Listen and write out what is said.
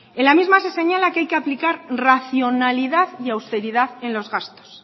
en la misma se señala que hay que aplicar racionalidad y austeridad en los gastos